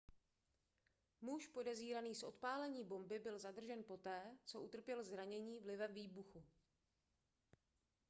muž podezíraný z odpálení bomby byl zadržen poté co utrpěl zranění vlivem výbuchu